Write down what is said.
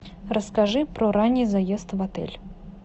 расскажи про ранний заезд в отель